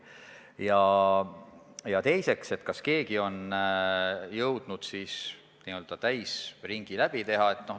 Ja teiseks, kas keegi on jõudnud n-ö täisringi läbi teha?